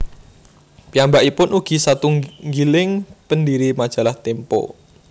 Piyambakipun ugi satunggiling pendiri Majalah Tempo